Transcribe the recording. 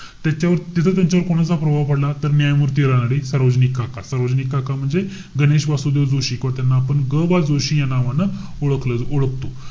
त्याच्यावर तिथं त्यांच्यावर कोणाचा प्रभाव पडला? तर न्यायमूर्ती रानडे, सरोजिनी काका. सरोजिनी काका म्हणजे गणेश वासुदेव जोशी किंवा त्याना आपण ग बा जोशी या नावानं ओळखलं~ ओळखतो.